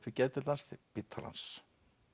við geðdeild Landspítalans